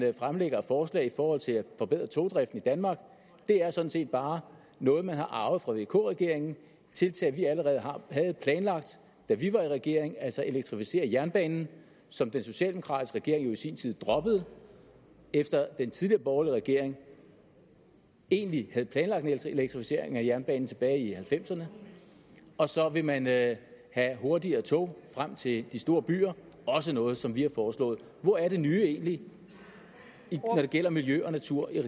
fremlægger af forslag i forhold til at forbedre togdriften i danmark er sådan set bare noget man har arvet fra vk regeringen tiltag vi allerede havde planlagt da vi var i regering altså at elektrificere jernbanen som den socialdemokratiske regering jo i sin tid droppede efter at den tidligere borgerlige regering egentlig havde planlagt en elektrificering af jernbanen tilbage i nitten halvfemserne og så vil man have hurtigere tog frem til de store byer også noget som vi har foreslået hvor er det nye egentlig når det gælder miljø og natur i